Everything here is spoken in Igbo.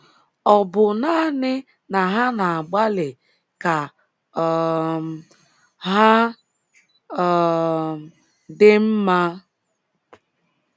Ọ̀ bụ naanị na ha na-agbalị ka um ha um dị mma?